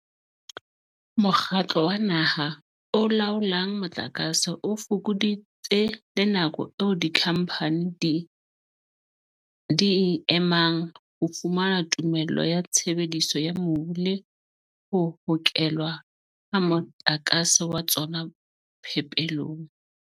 Mokgatlo wa Naha o Laolang Motlakase o fokoditse le nako eo dikhamphane di e emang ho fumana tumello ya tshebediso ya mobu le ho hokelwa ha motlakase wa tsona phepelong.